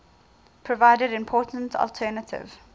provide important alternative